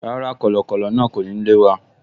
Rárá, kọ̀lọ̀kọ̀lọ̀ náà kò ní lé wa